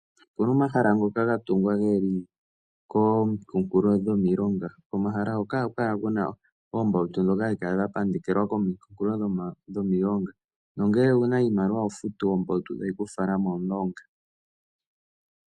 Opuna omahala ngoka ga tungwa geli kominkulofuta dhomilonga. Komumikunulo hoka ohaku kala kuna oombautu hadhi kala dha pandekelwako komikunkulo dhomilonga, nongele owuna iimaliwa oho futu ombautu, etayi ku fala momulonga.